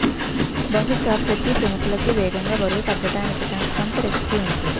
బహుశా ప్రతి ప్రముఖులకి వేగంగా బరువు తగ్గడానికి తన స్వంత రెసిపీ ఉంది